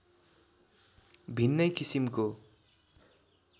भिन्नै किसिमको